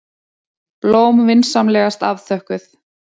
Blóm vinsamlegast afþökkuð.